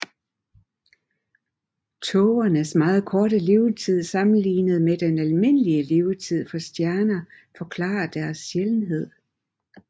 Tågernes meget korte levetid sammenlignet med den almindelige levetid for stjerner forklarer deres sjældenhed